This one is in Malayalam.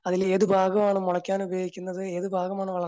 അതില് ഏത് ഭാഗമാ മുളക്കാൻ ഉപയോഗിക്കുന്നത് ഏതു ഭാഗമാണ്